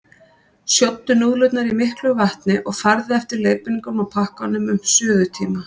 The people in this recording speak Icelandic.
Sjóddu núðlurnar í miklu vatni og farðu eftir leiðbeiningunum á pakkanum um suðutíma.